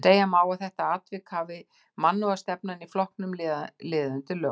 Segja má að við þetta atvik hafi mannúðarstefnan í flokknum liðið undir lok.